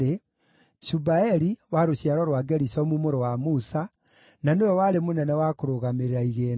Shubaeli wa rũciaro rwa Gerishomu mũrũ wa Musa, na nĩwe warĩ mũnene wa kũrũgamĩrĩra igĩĩna.